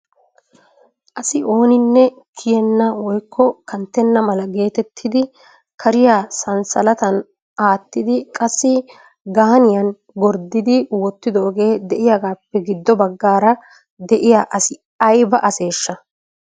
Asi ooninne kiyyena woykko kanttena mala geettetidi kariyaa sanssalattan aattidi qassi gaaniyaan gorddidi wottidooge de'iyaagappe giddo baggaara de'iyaa asi aybba aseshsha?